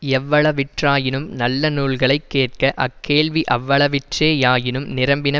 எவ்வளவிற்றாயினும் நல்ல நூல்களை கேட்க அக்கேள்வி அவ்வளவிற்றே யாயினும் நிரம்பின